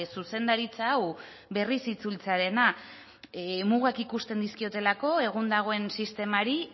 zuzendaritza hau berriz itzultzearena mugak ikusten dizkiotelako egun dagoen sistemari